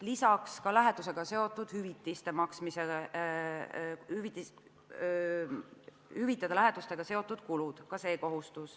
Lisaks ka see kohustus, et tuleb hüvitada lähetusega seotud kulud.